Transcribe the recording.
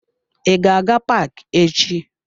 I ga-aga paaki echi?